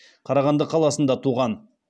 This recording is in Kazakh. қарағанды қаласында туған